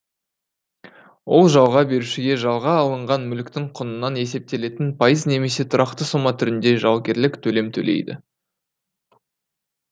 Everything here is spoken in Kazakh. ол жалға берушіге жалға алынған мүліктің құнынан есептелетін пайыз немесе тұрақты сома түрінде жалгерлік төлем төлейді